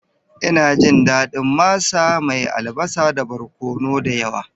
Ina jin daɗin masa mai albasa da barkono da yawa.